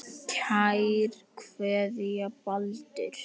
Kær kveðja, Baldur